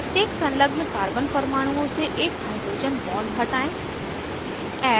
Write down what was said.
प्रत्येक संलग्न carbon परमाणुओं से एक hydrogen bond हटायें